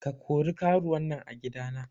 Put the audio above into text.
Ka kori karuwan nan a gida na.